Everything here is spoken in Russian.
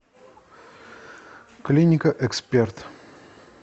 клиника эксперт